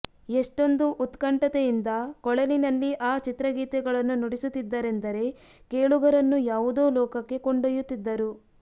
ಎಷ್ಟೊಂದು ಉತ್ಕಂಠತೆಯಿಂದ ಕೊಳಲಿನಲ್ಲಿ ಆ ಚಿತ್ರಗೀತೆಗಳನ್ನು ನುಡಿಸುತ್ತಿದ್ದರೆಂದರೆ ಕೇಳುಗರನ್ನು ಯಾವುದೋ ಲೋಕಕ್ಕೆ ಕೊಂಡೊಯ್ಯುತ್ತಿದ್ದರು